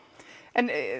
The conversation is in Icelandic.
en